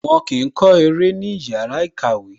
Wọn kì í kọ́ eré ní ìyára ìkàwẹ́